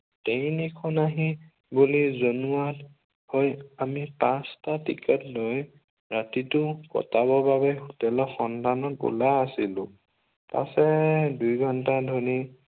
Train এখন আহিব বুলি জনোৱাত আমি পাঁচটা টিকেট লৈ ৰাতিটো কটাবৰ বাবে হোটেলৰ সন্ধানত ওলাই আহিলো। পাছে দুই ঘণ্টা ধৰি